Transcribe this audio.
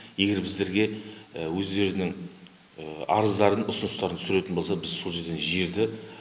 егер біздерге өздерінің арыздарын ұсыныстарын түсіретін болса біз сол жерден жерді